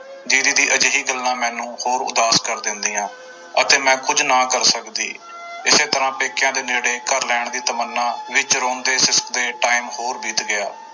ਦੀਦੀ ਦੀ ਅਜਿਹੀ ਗੱਲਾਂ ਮੈਨੂੰ ਹੋਰ ਉਦਾਸ ਕਰ ਦਿੰਦੀਆਂ ਅਤੇ ਮੈਂ ਕੁੱਝ ਨਾ ਕਰ ਸਕਦੀ ਇਸੇ ਤਰ੍ਹਾਂ ਪੇਕਿਆਂ ਦੇ ਨੇੜੇ ਘਰ ਲੈੈਣ ਦੀ ਤਮੰਨਾ ਵਿੱਚ ਰੋਂਦੇ ਸਿਸਕਦੇ time ਹੋਰ ਬੀਤ ਗਿਆ।